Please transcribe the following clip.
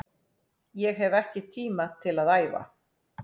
Ég hef ekki tíma til að æfa